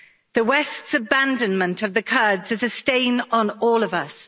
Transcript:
The West's abandonment of the Kurds is a stain on all of us.